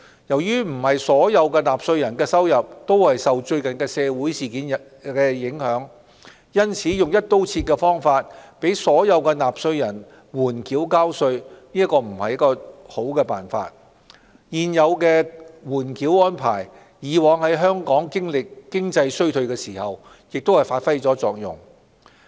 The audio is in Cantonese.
由於不是所有納稅人的收入都受最近的社會事件影響，用"一刀切"的方法讓所有納稅人緩繳交稅並非良策，而現有的緩繳安排以往在香港經歷經濟衰退時亦曾發揮作用。